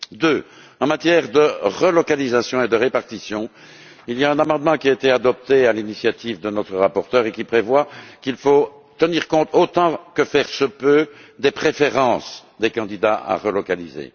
Deuxièmement, en matière de relocalisation et de répartition, il y a un amendement qui a été adopté à l'initiative de notre rapporteure, et qui prévoit qu'il faut tenir compte, autant que faire se peut, des préférences des candidats à relocaliser.